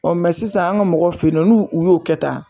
sisan an ka mɔgɔw eyinɔ n'u y'o kɛ tan.